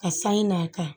Ka san n'a kan